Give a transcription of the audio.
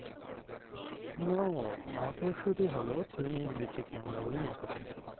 no মটরশুঁটি হলো শিমের বিচিকে আমরা বলি মটরশুঁটি।